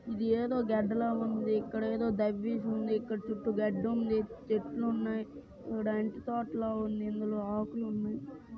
ఇది ఏదో గడ్డి లాగా ఉంది. ఇక్కడ ఏదో దవ్వేసి ఉంది. ఇక్కడ చుట్టూ గడ్డి ఉంది చెట్లు ఉన్నాయి. చూడ్డానికి తోటలా ఉంది. ఇందులో ఆకులు ఉన్నాయి.